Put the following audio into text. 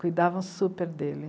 Cuidavam super dele.